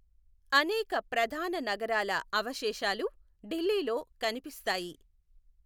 అనేక ప్రధాన నగరాల అవశేషాలు ఢిల్లీలో కనిపిస్తాయి.